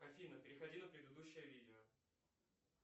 афина переходи на предыдущее видео